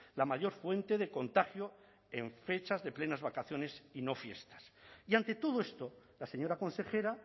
la mayor fuente de contagio en fechas de plenas vacaciones y no fiestas y ante todo esto la señora consejera